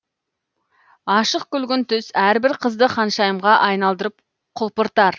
ашық күлгін түс әрбір қызды ханшайымға айналдырып құлпыртар